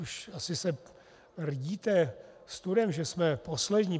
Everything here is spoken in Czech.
Už se asi rdíte studem, že jsme poslední.